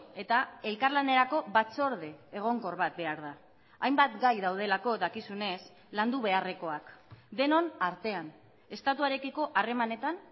eta elkarlanerako batzorde egonkor bat behar da hainbat gai daudelako dakizunez landu beharrekoak denon artean estatuarekiko harremanetan